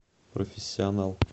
профессионал